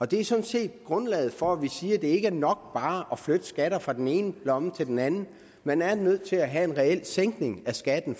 det er sådan set grundlaget for at vi siger at det ikke er nok bare at flytte skatten fra den ene lomme til den anden man er nødt til at have en reel sænkning af skatten